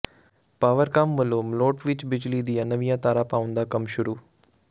ਪਾਵਰਕਾਮ ਵਲੋਂ ਮਲੋਟ ਵਿਚ ਬਿਜਲੀ ਦੀਆਂ ਨਵੀਆਂ ਤਾਰਾਂ ਪਾਉਣ ਦਾ ਕੰਮ ਸ਼ੁਰੂ